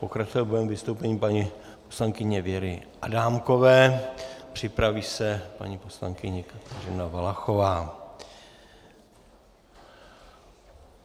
Pokračovat budeme vystoupením paní poslankyně Věry Adámkové, připraví se paní poslankyně Kateřina Valachová.